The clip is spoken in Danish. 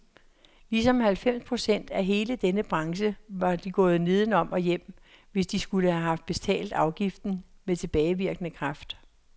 Ligesom halvfems procent af hele denne branche var de gået nedenom og hjem, hvis de skulle have betalt afgiften med tilbagevirkende kraft.